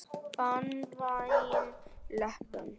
Banvæn leppun.